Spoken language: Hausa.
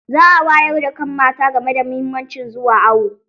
Za a wayar da kan mata game da muhimmancin zuwa awo.